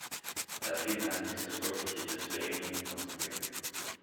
афина алиса сколько сейчас времени в москве